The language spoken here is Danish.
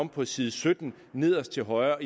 på side sytten nederst til højre